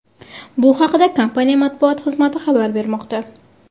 Bu haqda kompaniya matbuot xizmati xabar bermoqda .